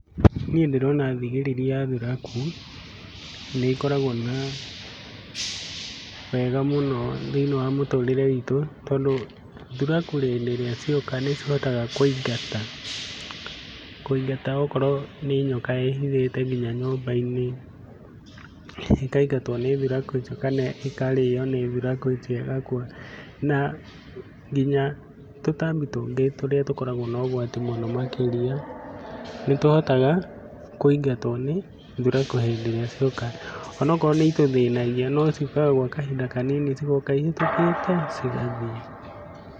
Niĩ ndĩrona thigiriri ya thuraku nĩ ikoragwo na wega mũno thĩiniĩ wa mũtũrĩre witũ tondũ thuraku hĩndĩ ĩrĩa cioka, nĩcihotaga kũingata, kũingata okorwo nĩ nyoka ĩĩhithĩte nginya nyũmba-inĩ ĩkaingatwo nĩ thuraku icio kana ĩkarĩo nĩ thuraku icio ĩgakua. Na nginya tũtambi tũngĩ tũrĩa tũkoragwo na ũgwati mũingĩ makĩria, nĩ tũhotaga kũingatwo nĩ thuraku hĩndĩ ĩrĩa cioka, onokorwo nĩ itũthĩnagia no ciũkaga kwa kahinda kanini, cigoka ihĩtũkĩte cigathiĩ.